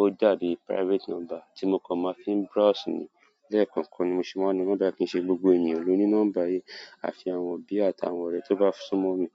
ó dàbí private nọ́mbà tí mo kàn máa ń fi ń browse ni. Lẹ́ẹ̀ kọ̀ọ̀kan ni mo ṣe máa ń lo nọ́mbà kìí ṣe gbogbo ènìyàn ló ní nọ́mbà yẹn. Àfi àwọn òbí àtàwọn ọ̀rẹ́ tó bá sún mọ́ mi.